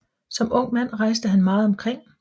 Som ung mand rejste han meget omkring